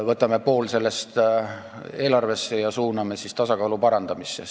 Võtame poole sellest eelarvesse ja suuname tasakaalu parandamisse!